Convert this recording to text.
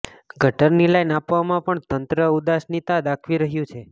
ગટરની લાઇન આપવામાં પણ તંત્ર ઉદાસીનતા દાખવી રહ્યું છે